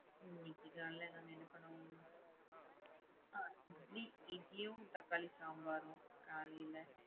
இன்னிக்கு காலைல நம்ம என்ன பண்ணோம்? அ இட்லியும் தக்காளி சாம்பாரும் காலைல.